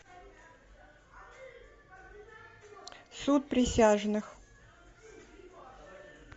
суд присяжных